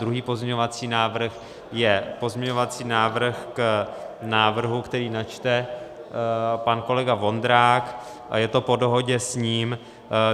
Druhý pozměňovací návrh je pozměňovací návrh k návrhu, který načte pan kolega Vondrák, je to po dohodě s ním.